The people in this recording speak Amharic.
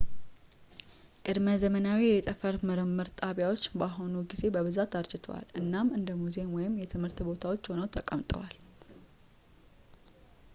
ቅድመ-ዘመናዊ የጠፈር ምርምር ጣቢያዎች በአሁን ጊዜ በብዛት አርጅተዋል እናም እንደ ሙዚየም ወይም የትምህርት ቦታዎች ሆነው ተቀምጠዋል